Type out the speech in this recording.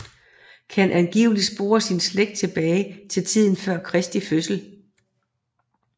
Kan angiveligt spore sin slægt tilbage til tiden før Kristi fødsel